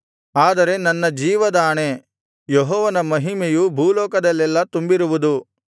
ಆದರೆ ನನ್ನ ಜೀವದಾಣೆ ಯೆಹೋವನ ಮಹಿಮೆಯು ಭೂಲೋಕದಲ್ಲೆಲ್ಲಾ ತುಂಬಿರುವುದು